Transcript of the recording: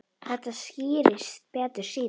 Þetta skýrist betur síðar.